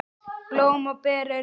Blóm og ber eru hvít.